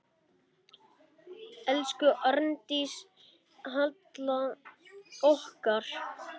Elsku Arndís Halla okkar.